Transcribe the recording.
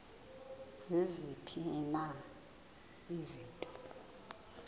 ziziphi na izinto